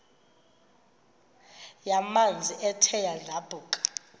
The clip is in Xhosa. yamanzi ethe yadlabhuka